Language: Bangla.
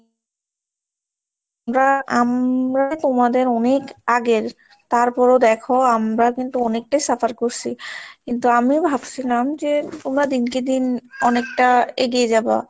আমরা তোমাদের অনেক আগের তারপরও দেখো আমরা কিন্তু অনেকটাই suffer করছি কিন্তু আমিও ভাবছিলাম যে তোমরা দিনকে দিন অনেকটা এগিয়ে যাবা।